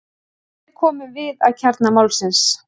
Hér komum við að kjarna málsins.